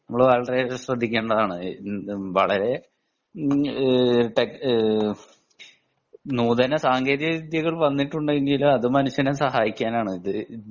നമ്മൾ വളരെയധികം ശ്രദ്ധിക്കേണ്ടതാണ് വളരെ നൂതന സാങ്കേതിക വിദ്യകൾ വന്നിട്ടുണ്ടെങ്കിലും അത് മനുഷ്യനെ സഹായിക്കാനാണു